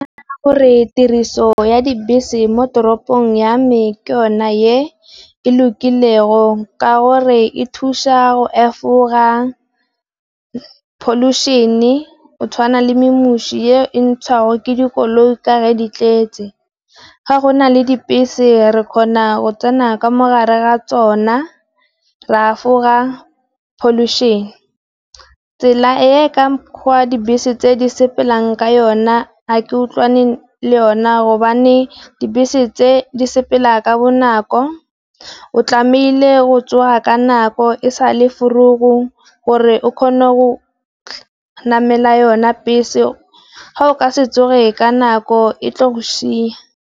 Gore tiriso ya dibese mo toropong ya me ke yona ye e lokilego ka gore e thusa go efoga, pholušene, go tshwana le memusi e ntshago ke dikoloi ka re di tletse. Ga go nale dibese re kgona go tsena ka mogare ga tsona, ra afoga pholušene tsela e ka mokgwa dibese tse di sepelang ka yona ga ke utlwane le yona gobane dibese tse di sepela ka bonako o tlamehile go tswa ka nako e sa le vroeg-o gore o kgone go namela yona bese, ga o ka se tswe ka nako e tle go sheya.